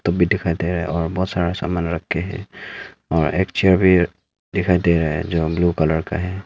भी दिखाई दे रहा है और बहुत सारा सामान रखे है और एक चेयर भी दिखाई दे रहा है जो ब्लू कलर का है।